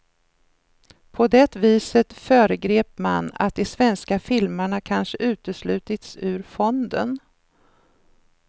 På det viset föregrep man att de svenska filmarna kanske uteslutits ur fonden.